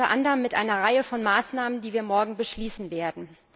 Unter anderem mit einer Reihe von Maßnahmen, die wir morgen beschließen werden.